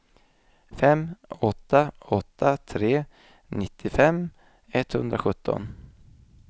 fem åtta åtta tre nittiofem etthundrasjutton